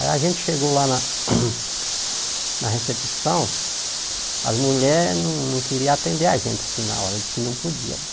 Aí a gente chegou lá na na recepção, as mulheres não queriam atender a gente assim na hora, diziam que não podia.